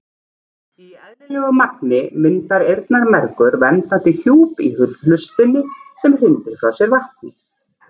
Í eðlilegu magni myndar eyrnamergur verndandi hjúp í hlustinni sem hrindir frá sér vatni.